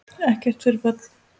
Ekkert fyrir börn.